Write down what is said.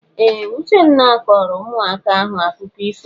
Ee! Uchenna kọọrọ ụmụaka ahụ akụkọ ifo.